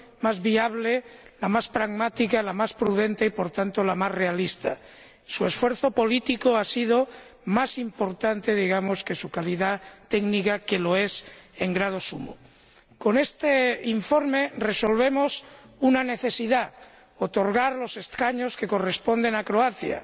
más viable, la más pragmática, la más prudente y, por tanto, la más realista. Su esfuerzo político ha sido más importante, digamos, que su calidad técnica, que lo es en grado sumo. Con este informe resolvemos una necesidad otorgar los escaños que corresponden a Croacia.